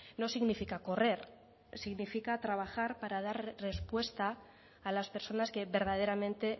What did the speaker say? no significa correr significa trabajar para dar respuesta a las personas que verdaderamente